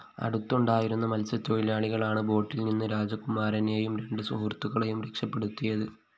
അടുത്തുണ്ടായിരുന്ന മത്സ്യത്തൊഴിലാളികളാണ് ബോട്ടില്‍ നിന്ന് രാജകുമാരനെയും രണ്ട് സുഹൃത്തുക്കളെയും രക്ഷപ്പെടുത്തിയത്